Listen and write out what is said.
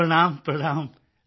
ਪ੍ਰਣਾਮ ਪ੍ਰਣਾਮ